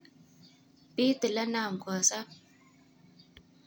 Bit ilenam kosab.